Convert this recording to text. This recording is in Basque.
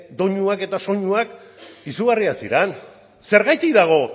doinuak eta soinuak izugarriak ziren zergatik dago